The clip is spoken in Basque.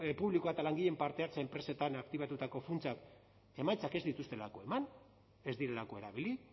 publikoa eta langileen parte hartzea enpresetan aktibatutako funtsak emaitzak ez dituztelako eman ez direlako erabili